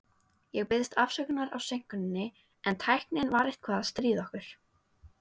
Ég biðst afsökunar á seinkuninni, en tæknin var eitthvað að stríða okkur.